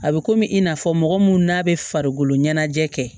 A bɛ komi i n'a fɔ mɔgɔ mun n'a bɛ farikolo ɲɛnajɛ kɛ